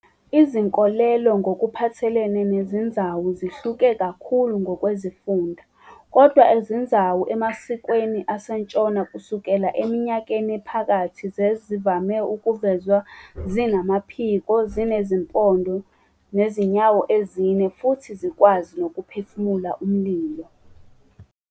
Izinkolelo ngokuphathelene nezinzawu zihluke kakhulu ngokwezifunda, kodwa izinzawu emasikweni asentshona kusukela eminyakeni ephakathi zazivame ukuvezwa zinamaphiko, zinezimpondo, ezinyawo ezine, futhi zikwazi nokuphefumula umlilo.